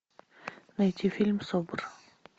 найти фильм собр